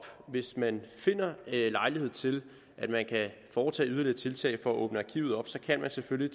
hvis man finder lejlighed til at foretage yderligere tiltag for at åbne arkivet op så kan man selvfølgelig